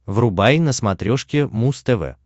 врубай на смотрешке муз тв